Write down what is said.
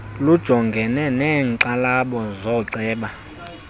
lujongane neenkxalabo zooceba